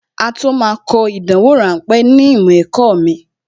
Á tó máa kọ ìdánwò ráńpẹ̀ ní ìmọ̀ ẹ̀kọ́ mi